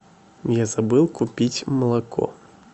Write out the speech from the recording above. я забыл купить молоко